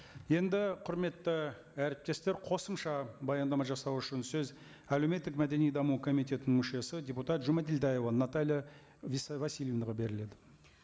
енді құрметті әріптестер қосымша баяндама жасау үшін сөз әлеуметтік мәдени даму комитетінің мүшесі депутат жұмадәлдаева наталья васильевнаға беріледі